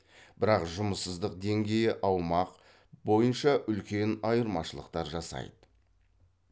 бірақ жұмыссыздық деңгейі аумақ бойынша үлкен айырмашылықтар жасайды